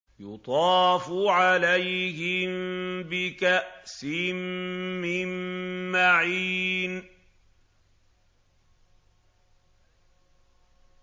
يُطَافُ عَلَيْهِم بِكَأْسٍ مِّن مَّعِينٍ